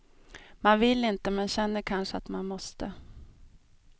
Man vill inte men känner kanske att man måste.